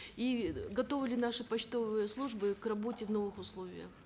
и готовы ли наши почтовые службы к работе в новых условиях